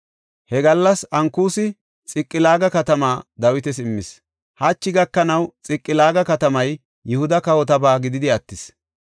He gallas Ankusi Xiqilaaga katamaa Dawitas immis; hachi gakanaw Xiqilaaga katamay Yihuda kawotaba gididi attis.